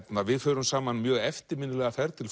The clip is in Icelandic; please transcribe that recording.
við förum saman mjög eftirminnilega ferð til